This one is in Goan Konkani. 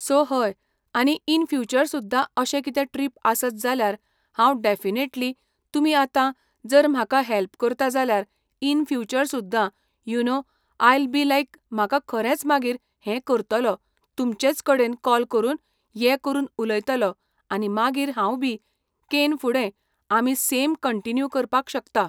सो हय आनी इन फ्यूचर सुद्दा अशें कितें ट्रिप आसत जाल्यार हांव डॅफिनेटली तुमी आतां जर म्हाका हेल्प करता जाल्यार इन फ्यूचर सुद्दा you know I'll be like म्हाका खरेंच मागीर हें करतलो तुमचेंच कडेन कॉल करून ये करून उयतलो आनी मागीर हांव बी केन फुडें आमी सेम कंटीन्यू करपाक शकता.